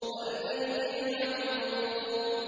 وَالْبَيْتِ الْمَعْمُورِ